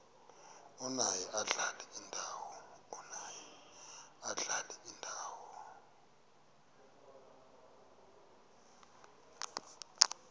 omaye adlale indawo